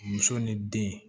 Muso ni den